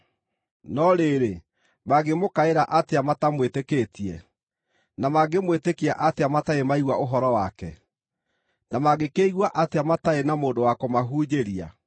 No rĩrĩ, mangĩmũkaĩra atĩa matamwĩtĩkĩtie? Na mangĩmwĩtĩkia atĩa matarĩ maigua ũhoro wake? Na mangĩkĩigua atĩa matarĩ na mũndũ wa kũmahunjĩria?